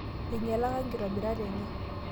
enyialaka inkitobirat enye